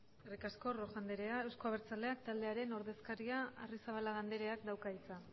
eskerrik asko rojo anderea euzko abertzale taldearen ordezkaria den arrizabalaga andreak dauka hitza